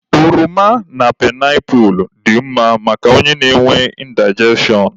Oroma na painapu dị mma maka onye na-enwe indigestion.